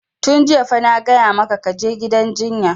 Tun jiya fa na gaya maka ka je gidan jinya!